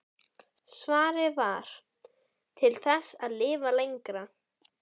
Svarið var: Til þess að lifa lengra.